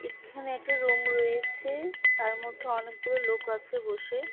এখানে একটা রুম রয়েছে তার মধ্যে অনেকগুলো লোক আছে বসে।